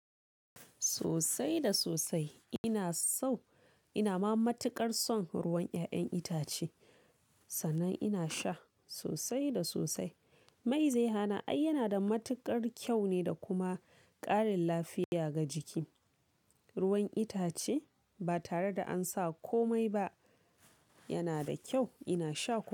Sosai da sosai ina so, ina ma matuƙar son ruwan ƴa'ƴan itace, sannan ina sha sosai da sosai. Mai zai hana? Ai yana da matuƙar kyau ne da kuma ƙarin lafiya ga jiki. Ruwan itace ba tare da an sa komai ba yana da kyau, ina sha ko.